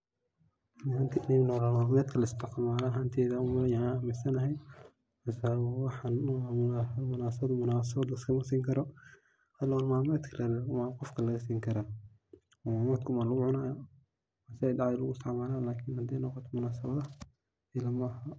Waa wax nololmadkena la isticmalo ayan aminsanahay, waxana munasabad laiskama sini karo ,nolol malmedka unba qofka laag sini karaa ,dahdha lagu isticmalo hadey noqoto munasabadaha maila aha.